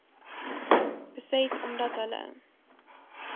beset omdat hulle